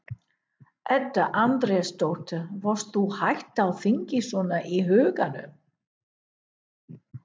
Edda Andrésdóttir: Varst þú hætt á þingi svona í huganum?